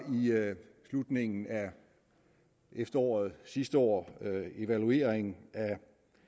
slutningen af efteråret sidste år evaluering af